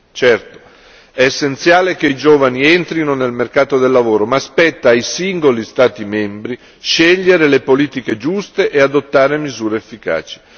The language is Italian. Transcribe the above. Certo è essenziale che i giovani entrino nel mercato del lavoro, ma spetta ai singoli Stati membri scegliere le politiche giuste e adottare misure efficaci.